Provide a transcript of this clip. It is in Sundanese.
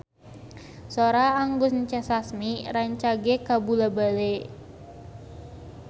Sora Anggun C. Sasmi rancage kabula-bale